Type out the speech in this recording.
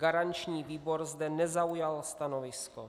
Garanční výbor zde nezaujal stanovisko.